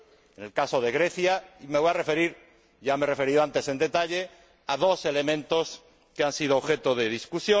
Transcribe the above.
En el caso de Grecia, me voy a referir —ya me he referido antes en detalle— a dos elementos que han sido objeto de debate.